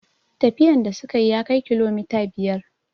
Tafiyan da suka yi ya kai kilomita biyar